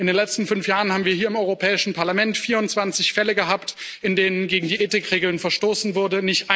In den letzten fünf Jahren haben wir hier im Europäischen Parlament 24 Fälle gehabt, in denen gegen die Ethikregeln verstoßen wurde.